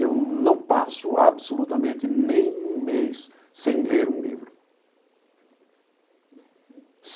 Eu não passo absolutamente nem um mês sem ler um livro.